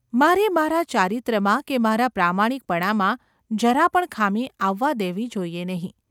મારે મારા ચારિત્ર્યમાં કે મારા પ્રામાણિકપણામાં જરા પણ ખામી આવવા દેવી જોઈએ નહિ.